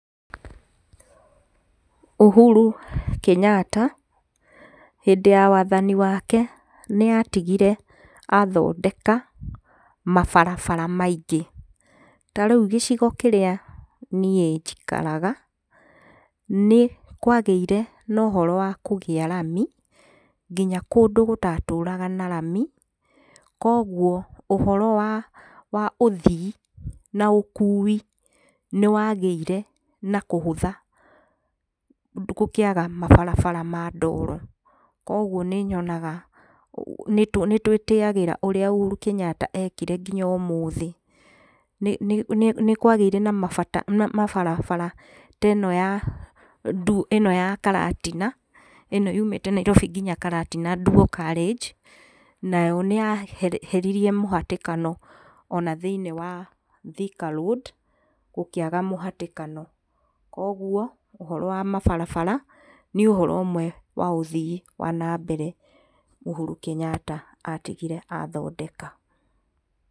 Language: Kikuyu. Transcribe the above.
Uhuru Kenyatta, hĩndĩ ya wathani wake nĩ atigire athondeka mabarabara maingĩ, tarĩu gĩcigo kĩrĩa niĩ njikaraga, nĩ kwagĩire nohoro wakũgĩa rami, nginya kũndũ gũtatũraga na rami, kwoguo ũhoro wa ũthii na ũkui, nĩ wagĩire nakũhũtha gũkĩaga mabarabara ma ndoro, kwoguo nĩ nyonaga, nĩ nĩ twĩtĩyagĩra ũrĩa Uhuru Kenyatta ekire nginya ũmũthĩ, nĩ nĩ nĩkwagĩire na nambata, na mabara teno ĩno ya karatina, ĩno yumĩte Nairobi nginya Karatina dual carriage, nayo nĩ yeheririe mũhatĩkano ona thĩinĩ wa Thika Road, gũkĩaga mũhatĩkano, kwoguo ũhoro wa mabarabara nĩ ũhoro ũmwe wa ũthii wa na mbere, Uhuru Kenyatta atigire athondeka.